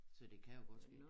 Så det kan jo godt være det